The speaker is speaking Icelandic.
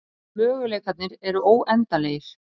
Möguleikarnir eru óendanlegir